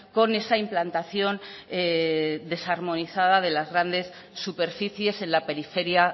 con esa implantación desarmonizada de las grandes superficies en la periferia